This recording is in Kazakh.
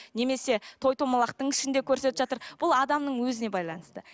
немесе той домалақтың ішінде көрсетіп жатыр бұл адамның өзіне байланысты